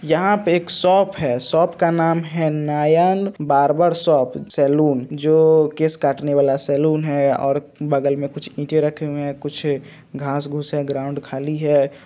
यहा पे एक सोप है सोप का नाम है नयन बार्बर सोप सैलून जो केस काटने वाला सैलून है और बगल में कुछ इटे रखे हुई है कुछ घास घुस है ग्राउंड खाली हैं।